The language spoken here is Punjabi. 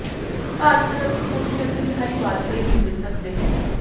ਭਾਜਪਾ ਦਫ਼ਤਰ ਪਹੁੰਚੀ ਅਟਲ ਬਿਹਾਰੀ ਵਾਜਪਾਈ ਦੀ ਮਿ੍ਰਤਕ ਦੇਹ